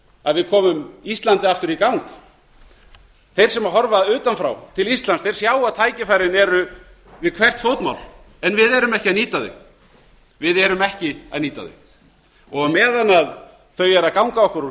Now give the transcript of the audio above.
að við komum íslandi aftur í gang þeir sem horfa utan frá til íslands sjá að tækifærin eru við hvert fótmál en við erum ekki að nýta þau meðan þau eru að ganga okkur